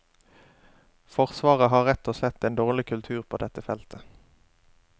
Forsvaret har rett og slett en dårlig kultur på dette feltet.